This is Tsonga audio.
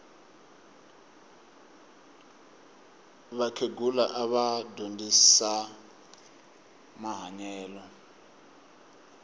vakhegula ava dyondzisa mahanyelo